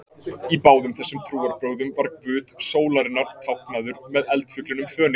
Í báðum þessum trúarbrögðum var guð sólarinnar táknaður með eldfuglinum Fönix.